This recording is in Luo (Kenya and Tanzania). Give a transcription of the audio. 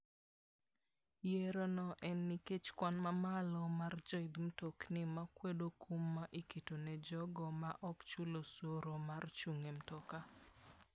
Yierono en nikech kwan mamalo mar joidh mtokni makwedo kum ma iketo ne jogo ma ok chul osuru mar chung' e mtoka.